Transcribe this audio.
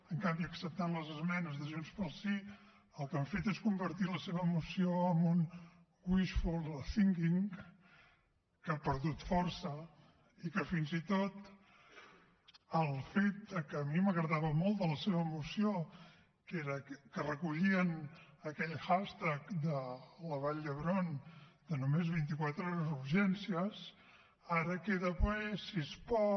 en canvi acceptant les esmenes de junts pel sí el que han fet és convertir la seva moció en un wishful thinking que ha perdut força i que fins i tot el fet que a mi m’agradava molt de la seva moció que era que recollien aquell hashtag nomes24haurgencies ara queda bé si es pot